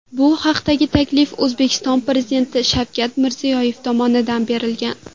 Bu haqdagi taklif O‘zbekiston Prezidenti Shavkat Mirziyoyev tomonidan berilgan.